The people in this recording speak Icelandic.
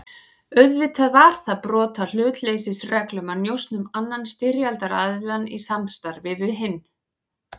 Auðvitað var það brot á hlutleysisreglum að njósna um annan styrjaldaraðiljann í samstarfi við hinn.